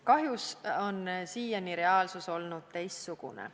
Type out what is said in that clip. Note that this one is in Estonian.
Kahjuks on siiani reaalsus olnud teistsugune.